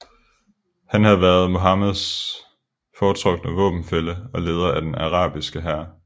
Han havde været Muhammeds foretrukne våbenfælle og leder af den arabiske hær